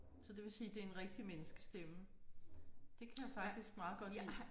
Så det vil sige det er en rigtig menneskestemme. Det kan jeg faktisk meget godt lide